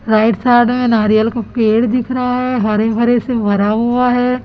Right side में नारियल का पेड़ दिख रहा है हरे भरे से भरा हुआ है।